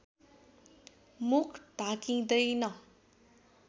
मुख ढाकिँदैन